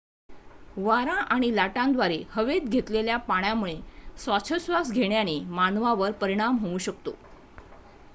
वारा आणि लाटांद्वारे हवेत घेतलेल्या पाण्यामुळे श्वासोच्छवास घेण्याने मानवावर परिणाम होऊ शकतो